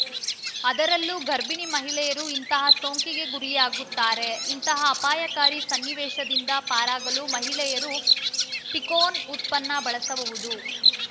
ಅದರಲ್ಲೂ ಗರ್ಭೀಣಿ ಮಹಿಳೆಯರು ಇಂತಹ ಸೋಂಕಿಗೆ ಗುರಿಯಾಗುತ್ತಾರೆ ಇಂತಹ ಅಪಾಯಕಾರಿ ಸನ್ನಿವೇಶದಿಂದ ಪಾರಾಗಲು ಮಹಿಳೆಯರು ಪೀಕೋನ್‌ ಉತ್ಪನ್ನ ಬಳಸಬಹುದು